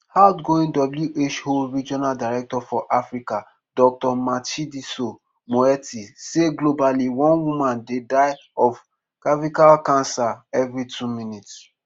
outgoing who regional director for africa dr matshidiso moeti say globally one woman dey die of cervical cancer every two minutes.